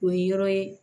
O ye yɔrɔ ye